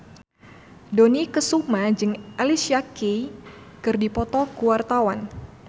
Dony Kesuma jeung Alicia Keys keur dipoto ku wartawan